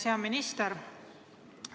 Hea minister!